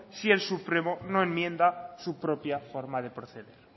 si el supremo no enmienda su propia forma de proceder